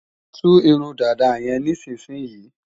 Tú irun dàda yẹn nísinsìnyí!